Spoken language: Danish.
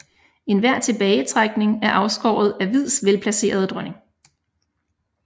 Enhver tilbagetrækning er afskåret af hvids velplacerede dronning